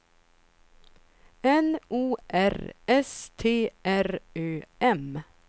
N O R S T R Ö M